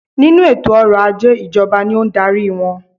Nínú eto ọrọ̀ ajé ìjọba ni o n darí wọn